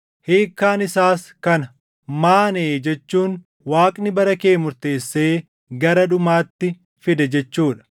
“Hiikkaan isaas kana: “ Maanee jechuun Waaqni bara kee murteessee gara dhumaatti fide jechuu dha.